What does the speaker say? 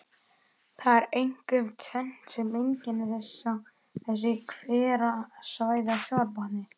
Það er einkum tvennt sem einkennir þessi hverasvæði á sjávarbotni.